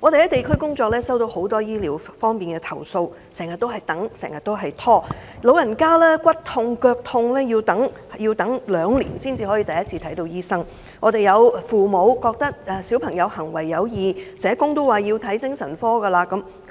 我們在地區工作收到很多醫療方面的投訴，市民經常要等、經常被拖，長者有骨痛、腳痛，要等兩年才第一次獲診症；父母發覺小朋友行為有異，社工亦建議見精神科，